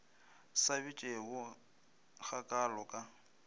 sa bitšego ga kaalo ka